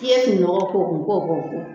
I ye fini nɔgɔ k'o kun ko o k'o ko.